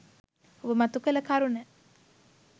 ඔබ මතු කළ කරුණ